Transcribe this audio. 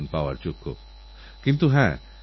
শিল্পীবর্মা একটা জরুরি কথা আমার গোচরে এনেছেন